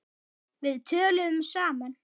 Við töluðum saman.